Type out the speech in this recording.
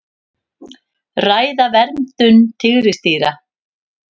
Ræða verndun tígrisdýra